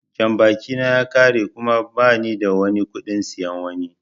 Jambaki na ya ƙare kuma ba nida kuɗin siyan wani.